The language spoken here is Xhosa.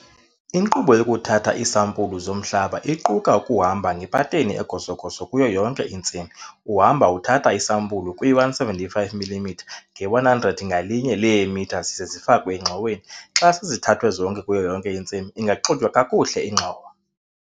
Inkqubo yokuthatha iisampulu zomhlaba iquka ukuhamba ngepateni egoso-goso kuyo yonke intsimi uhamba uthatha isampulu kwi-175 mm nge-100 ngalinye leemitha zize zifakwe engxoweni. Xa sezithathwe kuyo yonke intsimi ingaxutywa kakuhle ingxowa.